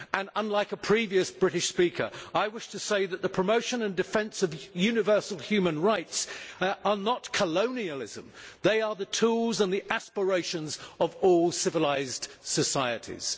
Unlike a previous British speaker, I wish to say that the promotion and defence of universal human rights are not colonialism they are the tools and the aspirations of all civilised societies.